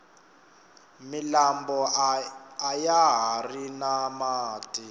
milambo ayahari na mati